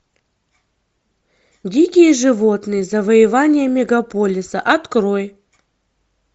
дикие животные завоевания мегаполиса открой